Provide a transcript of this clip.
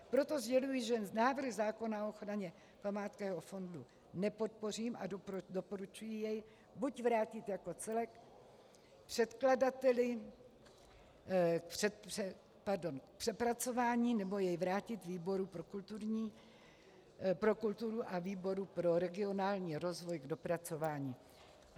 Proto sděluji, že návrh zákona o ochraně památkového fondu nepodpořím, a doporučuji jej buď vrátit jako celek předkladateli k přepracování, nebo jej vrátit výboru pro kulturu a výboru pro regionální rozvoj k dopracování.